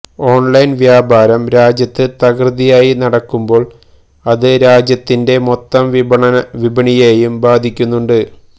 online വ്യാപാരം രാജ്യത്ത് തകൃതിയായി നടക്കുമ്പോള് അത് രാജ്യത്തിന്റെ മൊത്തം വിപണിയെയും ബാധിക്കുന്നുണ്ട്